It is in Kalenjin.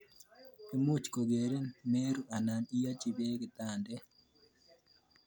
Much kokerin meru anan iachi peek kitandet.